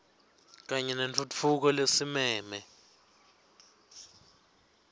kanye nentfutfuko lesimeme